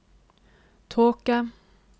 tåke